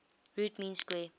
root mean square